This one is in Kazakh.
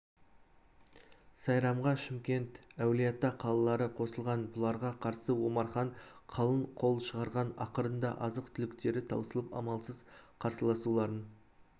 сайрамға шымкент әулиеата қалалары қосылған бұларға қарсы омархан қалың қол шығарған ақырында азық-түліктері таусылып амалсыз қарсыласуларын